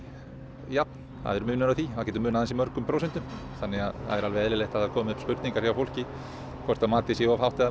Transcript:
jafnhátt það er munur á því það getur munað ansi mörgum prósentum þannig að það er alveg eðlilegt að það komi upp spurningar hjá fólki hvort matið sé of hátt eða